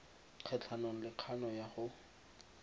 kgatlhanong le kgano ya go